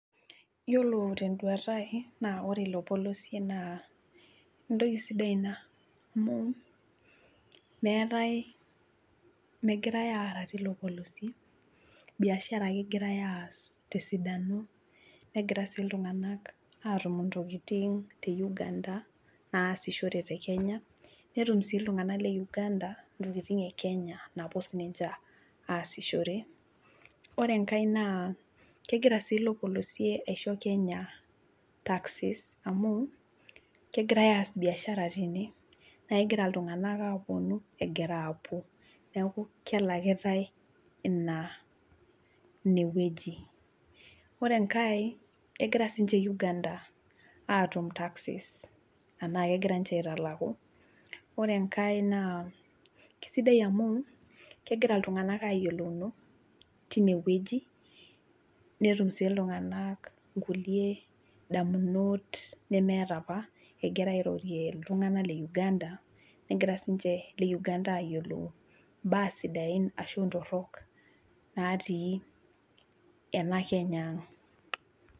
Iyiolo teduata ai iyiolo ilo polosie naa entoki sidai Ina, amu meetae megirae aaara teilo polosie biashara ake egirae aas, tesidano, negirae sii iltunganak atume intokitin te Uganda aasishore te Kenya, netum sii iltunganak le uganda, intokitin e Kenya naapuo ninche aasishore, ore enkae naa kegirae sii ilo polosie aisho Kenya taxes amu kegirae aas biashara tene, naa kegira iltunganak aapuonu, egira aapuo. neeku kelakitae Ina ine wueji. ore enkae kegira sii ninche Uganda aatum taxes naa kegira ninche aitalaku. ore enkae naa kisidai amu, kegira iltunganak aayiolounu teine wueji,,netum sii iltunganak nkulie damunot nemeeta apa egira airorie iltunganak le uganda negirae sii ninche Ile Uganda aayiolou imbaa sidain ashu ntorok natii ena Kenya.